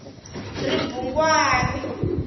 ribungwani